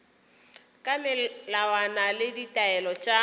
ka melawana le ditaelo tša